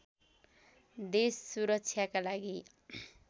देश सुरक्षाका लागि